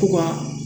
To ka